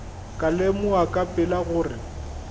ka lemoga ka pela gore